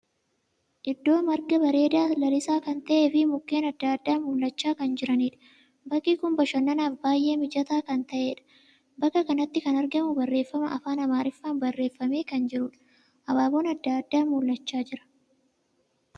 Iddoo marga bareedaa lalisaa kan tahee fi mukkeen addaa addaa mul'achaa kan jiraniidha. Bakki kun bashannanaaf baay'ee mijataa kan taheedha. Bakka kanatti kan argamu barreeffama Afaan Amaariffaan barreeffamee kan jiruudha. Abaaboon addaa addaa mul'achaa jira.